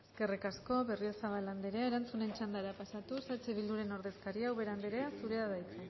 eskerrik asko berriozabal andrea erantzunen txandara pasatuz eh bilduren ordezkaria ubera andrea zurea da hitza